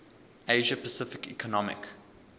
asia pacific economic